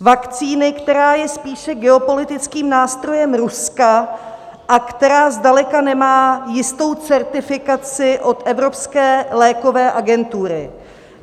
Vakcíny, která je spíše geopolitickým nástrojem Ruska a která zdaleka nemá jistou certifikaci od Evropské lékové agentury.